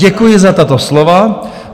Děkuji za tato slova.